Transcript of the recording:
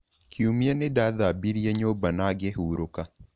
Kiumia nĩ ndaathambirie nyũmba na ngĩhurũka.